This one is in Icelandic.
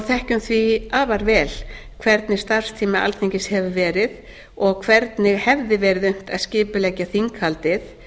þekkjum því afar vel hvernig starfstími alþingis hefur verið og hvernig hefði verið unnt að skipuleggja þinghaldið